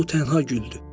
O tənha güldür.